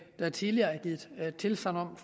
der tidligere er blevet givet tilsagn om